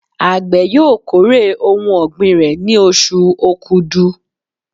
Àgbẹ̀ yóò kórè ohun ọ̀gbìn rẹ̀ ní oṣù Okudu.